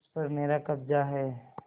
उस पर मेरा कब्जा है